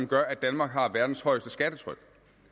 gør at danmark har verdens højeste skattetryk